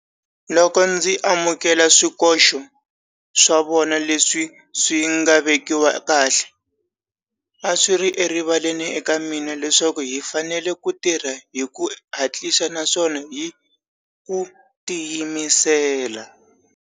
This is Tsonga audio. Loko ndzi amukela swikoxo swa vona leswi swi nga vekiwa kahle, a swi ri erivaleni eka mina leswaku hi fanele ku tirha hi ku hatlisa naswona hi ku tiyimisela.